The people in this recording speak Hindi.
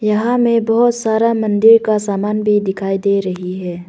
यहां मैं बहुत सारा मंदिर का सामान भी दिखाई दे रही है।